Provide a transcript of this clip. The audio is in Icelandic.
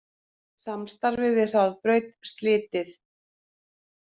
Samstarfi við Hraðbraut slitið